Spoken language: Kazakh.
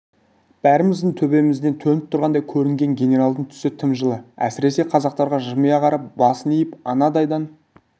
бәріміздің төбемізден төніп тұрғандай көрінген генералдың түсі тым жылы әсіресе қазақтарға жымия қарап басын иіп анадайдан